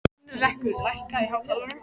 Heinrekur, lækkaðu í hátalaranum.